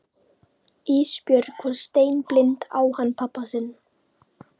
Ísbjörg var steinblind á hann pabba sinn.